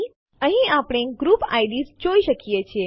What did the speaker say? અહીં આપણે group IDs જોઈ શકીએ છીએ